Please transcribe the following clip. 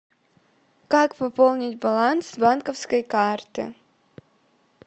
как пополнить баланс с банковской карты